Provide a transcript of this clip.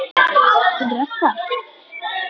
Hún Ragga?